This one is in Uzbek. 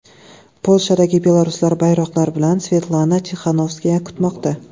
Polshadagi belaruslar bayroqlar bilan Svetlana Tixanovskayani kutmoqda.